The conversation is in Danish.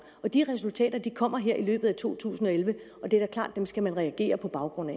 de resultater kommer her i løbet af to tusind og elleve og det er da klart at dem skal man reagere på baggrund